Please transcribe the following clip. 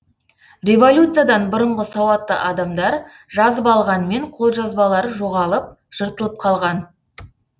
революциядан бұрынғы сауатты адамдар жазып алғанмен қолжазбалары жоғалып жыртылып қалған